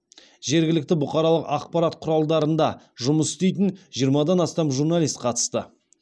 жергілікті бұқаралық ақпарат құралдарында жұмыс істейтін жиырмадан астам журналист қатысты